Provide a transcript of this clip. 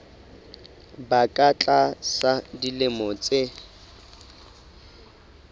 ba ka tlasa dilemo tse